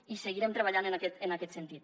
i seguirem treballant en aquest sentit